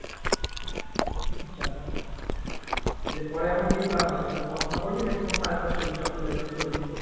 এরপরে এখন কি plan আছে আর পড়াশোনা করবি নাকি কোন কাজ বাজ করবি job পেলে job করবি